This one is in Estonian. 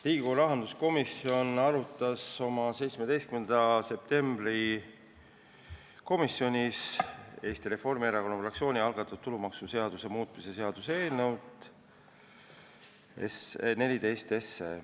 Riigikogu rahanduskomisjon arutas oma 17. septembri istungil Eesti Reformierakonna fraktsiooni algatatud tulumaksuseaduse muutmise seaduse eelnõu 14.